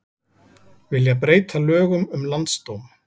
Vilja breyta lögum um landsdóm